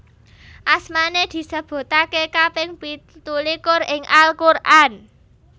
Asmané disebutake kaping pitulikur ing Al Quran